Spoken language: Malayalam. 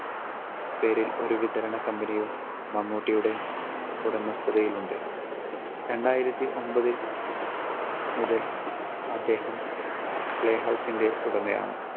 പേരിൽ ഒരു വിതരണ company യും മമ്മൂട്ടിയുടെ ഉടമസ്ഥതയിൽ ഉണ്ട്. രണ്ടായിരത്തി ഒൻപതിൽ മുതൽ അദ്ദേഹം പ്ലേ ഹൗസിന്റെ ഉടമയാണ്.